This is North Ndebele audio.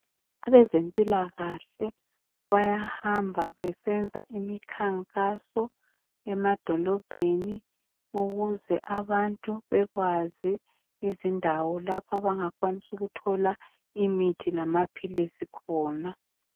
Abezempilakahle bayahamba besenza imikhankaso emadolobheni ukuze abantu bekwazi izindawo lapho abangakwanis'ukuthola mithi lamaphilisi khona.